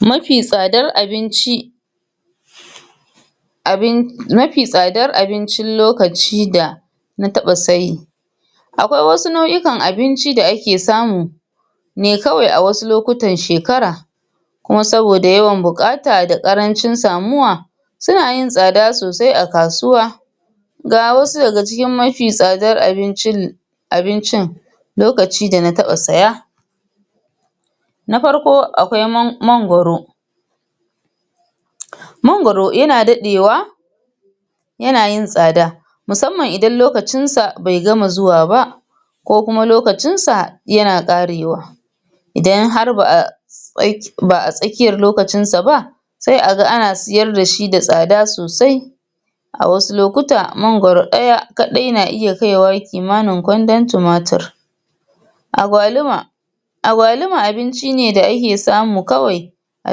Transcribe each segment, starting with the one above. Mafi tsadar abinci, abin mafi tsadar abincin lokaci da na taba saye, akwai wassu nauʼukan abinci da ake samu ne kawai a wasu nauʼukan shekara kuma saboda yawan buƙata da ƙarancin samuwa suna yin tsada sosai a kasuwa. Ga wassu daga cikin mafi tsadar abincin abincin lokaci da na taba siya Na farko akwai mangwaro mangwaro yana dadewa yana yin tsada musamman idan lokacinsa bai gama zuwa ba ko kuma lokacinsa yana ƙarewa idan har ba'a idan har ba a tsakiyar lokacin sa ba sai a ga ana sayar da shi da tsada sosai, a wassu lokuta mangwaro ɗaya kaɗai na iya kaiwa kimanin kwandon tumatir. agwaluma agwaluma abinci ne da a ke samu kawai da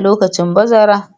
lokacin bazara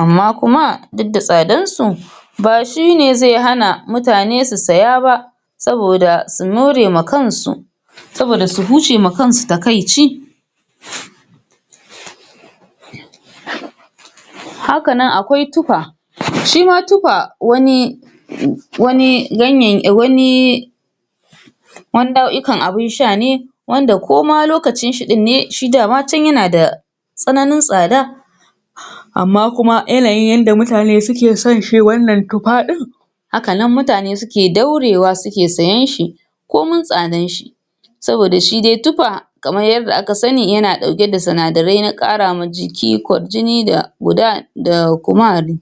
Amma kuma duk da tsadansu ba shine zai hana mutane su saya ba saboda su more kan su saboda su huce ma kan su takaici. Haka nan akwai tuffa, shi ma tuffa wani wani ganyay nauʼkan abin sha ne wanda ko ma lokacinshi din ne yana da tsananin tsada amma kuma yanayin yadda mutane ke son shi tuffa ɗin haka nan mutane ke daurewa suke sayenshi komin tsadanshi saboda shi dai tuffa kamar yadda aka sani yana dauke da sinadarai na kara ma jiki kwarjini da Kumari.